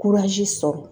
sɔrɔ